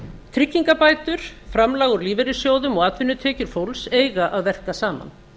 tryggingabætur framlag úr lífeyrissjóðum og atvinnutekjur fólks eiga að verka saman